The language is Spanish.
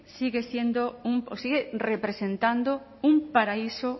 sigue siendo sigue representando un paraíso